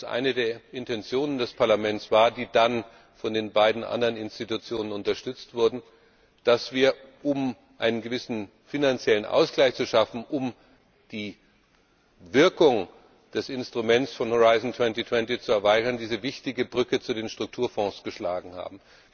eine der Intentionen des Parlaments war, die dann von den beiden anderen Institutionen unterstützt wurde, dass wir, um einen gewissen finanziellen Ausgleich zu schaffen, um die Wirkung des Instruments Horizon 2020 zu erweitern, diese wichtige Brücke zu den Strukturfonds geschlagen haben.